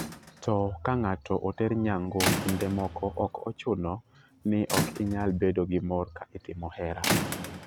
To ka ng'ato oter nyango kinde moko ok ochuno ni ok inyal bedo gi mor ka itimo hera."